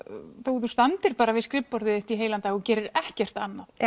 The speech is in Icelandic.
þó þú standir bara við skrifborðið þitt í heilan dag og gerir ekkert annað